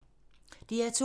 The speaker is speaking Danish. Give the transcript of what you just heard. DR2